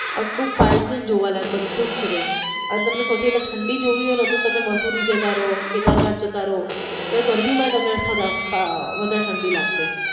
એટલું fine છે ને જોવા લાયક બધું જ છે ત્યાં હવે તમને સૌથી વધારે ઠંડી જોવી હોઈ ને તો તમે મસૂરી જતા રયો કેદારનાથ જતા રયો ત્યાં તમને ગરમી માં પણ ઠંડી લાગશે.